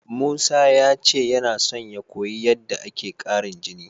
Musa ya ce yana son ya koyi yadda ake ƙarin jini.